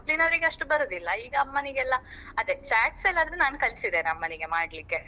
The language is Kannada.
ಮೊದ್ಲಿನವ್ರಿಗೆ ಅಷ್ಟು ಬರುದಿಲ್ಲ ಈಗ ಅಮ್ಮನಿಗೆಲ್ಲ ಅದೇ chats ಎಲ್ಲ ಆದ್ರೆ ನಾನ್ ಕಲ್ಸಿದ್ದೇನೆ ಅಮ್ಮನಿಗೆ ಮಾಡ್ಲಿಕ್ಕೆ.